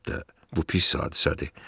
Əlbəttə, bu pis hadisədir.